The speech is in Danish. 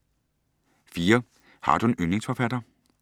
4) Har du en yndlingsforfatter?